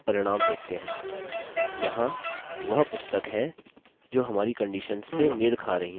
यहाँ वह पुस्तक हैं जो हमारी conditions से met खा रही हैं